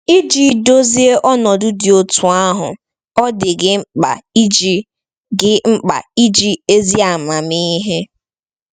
Iji dozie ọnọdụ dị otú ahụ, ọ dị gị mkpa iji gị mkpa iji ezi amamihe.